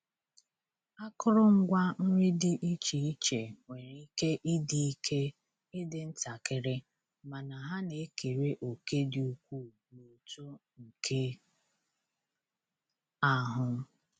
Akụrụngwa nri di iche iche nwere ike ịdị ike ịdị ntakịrị mana ha na-ekere òkè dị ukwuu n’uto nke ahụ